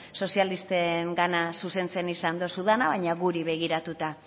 sozialistengana zuzentzen izan dozu dana baina guri begiratuta